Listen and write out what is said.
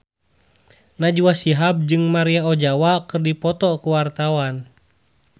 Najwa Shihab jeung Maria Ozawa keur dipoto ku wartawan